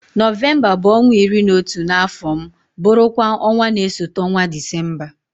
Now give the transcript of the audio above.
Nọvemba bụ ọnwa iri na otu n'afọ m bụrụ kwa ọnwa na-esote ọnwa Disemba.